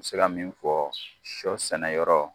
se ka min fɔ sɔ sɛnɛ yɔrɔ